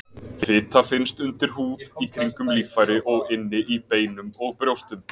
Fita finnst undir húð, í kringum líffæri og inni í beinum og brjóstum.